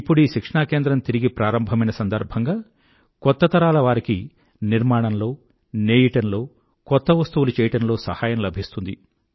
ఇప్పుడీ శిక్షణా కేంద్రం తిరిగి ప్రారంభమైన సందర్భంగా కొత్త తరాల వారికి నిర్మాణంలో నేయడంలో కొత్త వస్తువులు చెయ్యటంలో సహాయం లభిస్తుంది